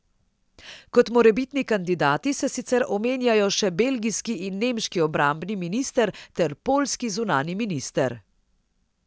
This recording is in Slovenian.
Kot morebitni kandidati se sicer omenjajo še belgijski in nemški obrambni minister ter poljski zunanji minister.